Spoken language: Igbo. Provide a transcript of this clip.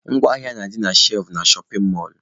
Ngwa ahịa na-adị na shelfụ na shọpin mọlụ..